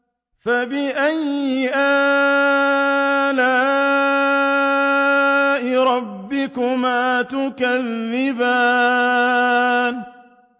فَبِأَيِّ آلَاءِ رَبِّكُمَا تُكَذِّبَانِ